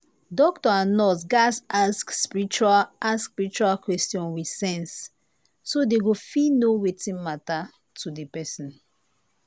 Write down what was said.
doctor and nurse gatz ask spiritual ask spiritual question with sense so dey go fit know wetin matter to the person.